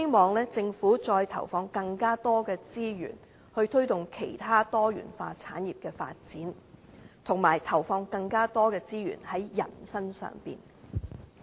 但是，我亦希望政府再投放更多資源，推動其他多元化產業的發展，以及投放更多資源在人身上。